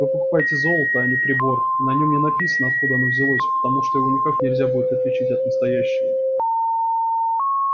вы покупаете золото а не прибор и на нём не написано откуда оно взялось потому что его никак нельзя будет отличить от настоящего